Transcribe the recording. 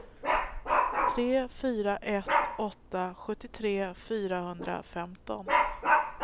tre fyra ett åtta sjuttiotre fyrahundrafemton